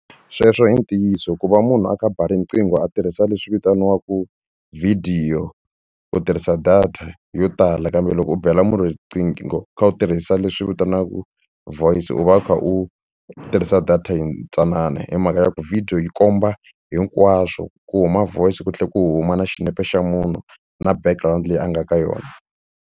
Sweswo i ntiyiso ku va munhu a kha a ba riqingho a tirhisa leswi vitaniwaka vhidiyo u tirhisa data yo tala kambe loko u bela munhu riqingho u kha u tirhisa leswi vitaniwaka voice u va u kha u tirhisa data yintsanana hi mhaka ya ku video yi komba hinkwaswo ku huma voice ku tlhela ku huma na xinepe xa munhu na background leyi a nga ka yona.